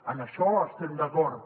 en això hi estem d’acord